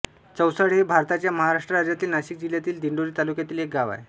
चौसाळे हे भारताच्या महाराष्ट्र राज्यातील नाशिक जिल्ह्यातील दिंडोरी तालुक्यातील एक गाव आहे